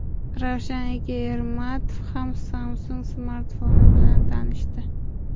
Ravshan aka Ermatov ham Samsung smartfoni bilan tanishdi.